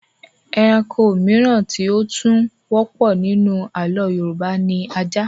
Ẹranko mìíràn tí ó tún wọ́pọ̀ nínú àlọ́ Yorùbá ni ajá